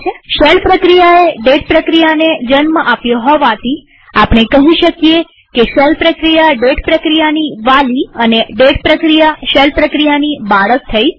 હવે શેલ પ્રક્રિયાએ ડેટ પ્રક્રિયાને જન્મ આપ્યો હોવાથી આપણે કહી શકીએ કે શેલ પ્રક્રિયા ડેટ પ્રક્રિયાની વાલી અને ડેટ પ્રક્રિયા શેલ પ્રક્રિયાની બાળક થઇ